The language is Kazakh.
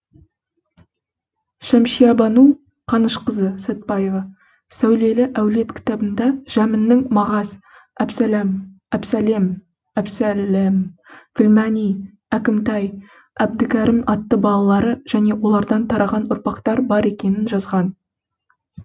шәмшиябану қанышқызы сәтбаева сәулелі әулет кітабында жәміннің мағаз әбсәлэм гүлмәни әкімтай әбдікәрім атты балалары және олардан тараған ұрпақтар бар екенін жазған